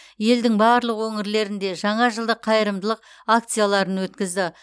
елдің барлық өңірлерінде жаңа жылдық қайырымдылық акцияларын өткізді